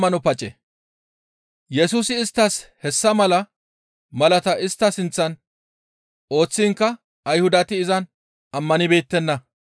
Yesusi isttas hessa mala malaata istta sinththan ooththiinkka Ayhudati izan ammanibeettenna.